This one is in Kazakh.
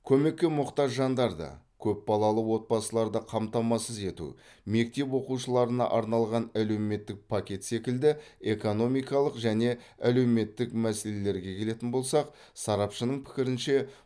көмекке мұқтаж жандарды көп балалы отбасыларды қамтамасыз ету мектеп оқушыларына арналған әлеуметтік пакет секілді экономикалық және әлеуметтік мәселелерге келетін болсақ сарапшының пікірінше